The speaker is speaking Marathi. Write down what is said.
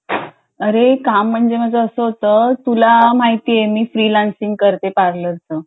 अरे काम म्हणजे असा होतं की तुला माहितीये मी फ्री लन्सिंग करते पार्लर च